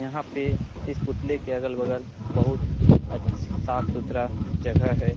यहाँ पे इस पुतले के अगल बगल बहुत अच्छ साफ़ सुथरा जगह है।